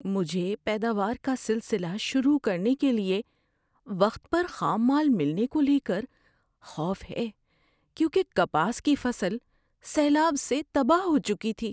مجھے پیداوار کا سلسلہ شروع کرنے کے لیے وقت پر خام مال ملنے کو لے کر خوف ہے، کیونکہ کپاس کی فصل سیلاب سے تباہ ہو چکی تھی۔